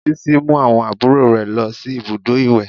Bísí mú àwọn àbúrò rẹ̀ lọ sí ibùdó ìwẹ̀